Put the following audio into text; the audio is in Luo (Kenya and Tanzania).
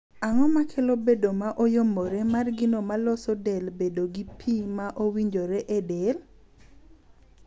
Ang'o makelo bedo ma oyombore mar gino ma loso del bedo gi pii ma owinjore e del?